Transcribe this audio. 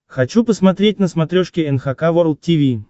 хочу посмотреть на смотрешке эн эйч кей волд ти ви